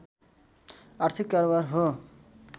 आर्थिक कारोबार हो